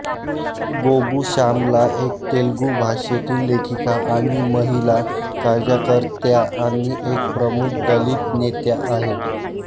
गोगु श्यामला एक तेलुगू भाषेतील लेखिका आणि महिला कार्यकर्त्या आणि एक प्रमुख दलित नेत्या आहेत